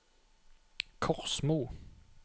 Korsmo